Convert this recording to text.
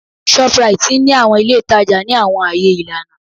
Shoprite ni awọn ile itaja ni awọn aaye ilana